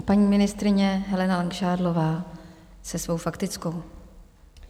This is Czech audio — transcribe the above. A paní ministryně Helena Langšádlová se svou faktickou.